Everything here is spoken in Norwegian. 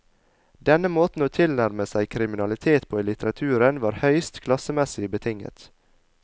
Denne måten å tilnærme seg kriminalitet på i litteraturen var høyst klassemessig betinget.